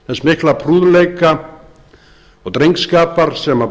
þessum stóru meisturum þess mikla prúðleika og